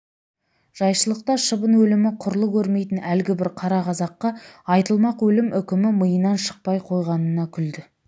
жайшылықта шыбын өлімі құрлы көрмейтін әлгі бір қара қазаққа айтылмақ өлім үкімі миынан шықпай қойғанына күлді